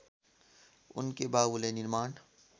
उनकै बाबुले निर्माण